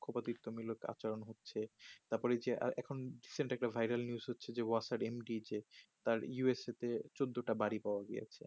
পক্ষবাদীত নিয়ে মিলে আচরণ হচ্ছে তারপর যে এখন vairal news হচ্ছে অসার md যে তার usc তে চোদ্দটা বাড়ে পাওয়া গেছে